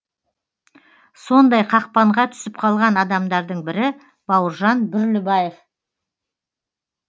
сондай қақпанға түсіп қалған адамдардың бірі бауыржан бүрлібаев